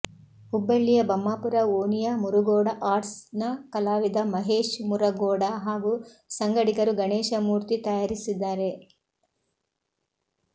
ಹುಬ್ಬಳ್ಳಿಯ ಬಮ್ಮಾಪುರ ಓಣಿಯ ಮುರುಗೋಡ ಆರ್ಟ್ಸ್ ನ ಕಲಾವಿದ ಮಹೇಶ್ ಮುರುಗೋಡ ಹಾಗೂ ಸಂಗಡಿಗರು ಗಣೇಶ ಮೂರ್ತಿ ತಯಾರಿಸಿದ್ದಾರೆ